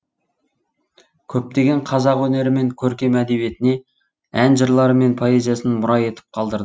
көптеген қазақ өнері мен көркем әдебиетіне ән жырлары мен поэзиясын мұра етіп қалдыр